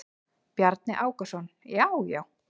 Bjarni Ákason: Já já.